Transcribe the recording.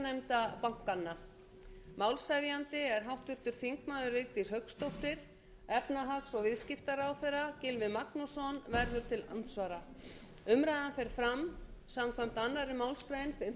málshefjandi er háttvirtur þingmaður vigdís hauksdóttir efnahags og viðskiptaráðherra gylfi magnússon verður til andsvara umræðan fer fram samkvæmt annarri málsgrein fimmtugustu grein